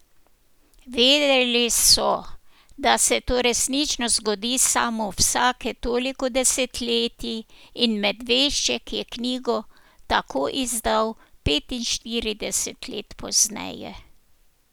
Vedeli so, da se to resnično zgodi samo vsake toliko desetletij, in Medvešček je knjigo tako izdal petinštirideset let pozneje.